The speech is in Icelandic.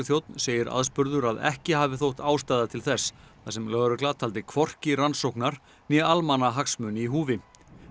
segir aðspurður að ekki hafi þótt ástæða til þess þar sem lögregla taldi hvorki rannsóknar né almannahagsmuni í húfi